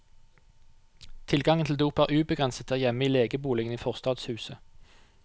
Tilgangen til dop er ubegrenset der hjemme i legeboligen i forstadshuset.